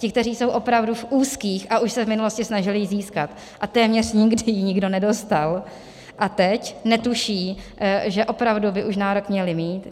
Ti, kteří jsou opravdu v úzkých a už se v minulosti snažili ji získat a téměř nikdy ji nikdo nedostal, a teď netuší, že opravdu by už nárok měli mít.